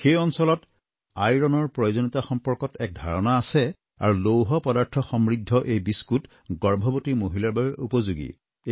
সেই অঞ্চলত আইৰণৰ প্ৰয়োজনীয়তা সম্পৰ্কত এটা ধাৰণা আছে আৰু লৌহ পদাৰ্থসমৃদ্ধ এই বিস্কুট গৰ্ভৱতী মহিলাৰ বাবেও উপযোগী